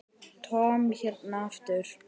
Tom hérna aftur.